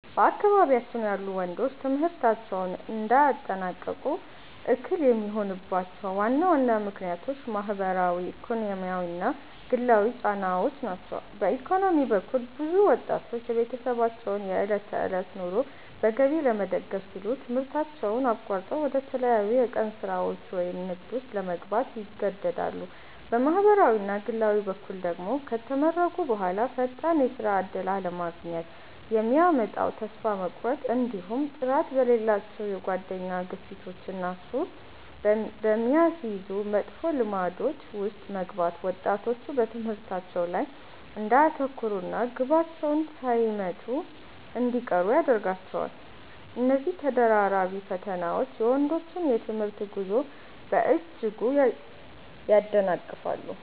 በአካባቢያችን ያሉ ወንዶች ትምህርታቸውን እንዳያጠናቅቁ እክል የሚሆኑባቸው ዋና ዋና ምክንያቶች ማኅበራዊ፣ ኢኮኖሚያዊና ግላዊ ጫናዎች ናቸው። በኢኮኖሚ በኩል፣ ብዙ ወጣቶች የቤተሰባቸውን የዕለት ተዕለት ኑሮ በገቢ ለመደገፍ ሲሉ ትምህርታቸውን አቋርጠው ወደ ተለያዩ የቀን ሥራዎች ወይም ንግድ ውስጥ ለመግባት ይገደዳሉ። በማኅበራዊና ግላዊ በኩል ደግሞ፣ ከተመረቁ በኋላ ፈጣን የሥራ ዕድል አለማግኘት የሚያመጣው ተስፋ መቁረጥ፣ እንዲሁም ጥራት በሌላቸው የጓደኛ ግፊቶችና ሱስ በሚያስይዙ መጥፎ ልማዶች ውስጥ መግባት ወጣቶች በትምህርታቸው ላይ እንዳያተኩሩና ግባቸውን ሳይመቱ እንዲቀሩ ያደርጋቸዋል። እነዚህ ተደራራቢ ፈተናዎች የወንዶችን የትምህርት ጉዞ በእጅጉ ያደናቅፋሉ።